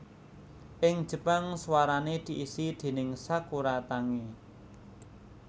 Ing Jepang suarane diisi déning Sakura Tange